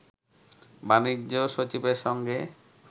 বাণিজ্য সচিবের সঙ্গে